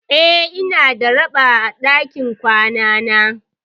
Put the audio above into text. Eh, ina da raɓa a dakin kwanana.